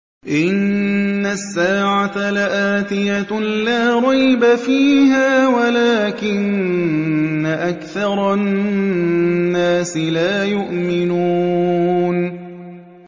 إِنَّ السَّاعَةَ لَآتِيَةٌ لَّا رَيْبَ فِيهَا وَلَٰكِنَّ أَكْثَرَ النَّاسِ لَا يُؤْمِنُونَ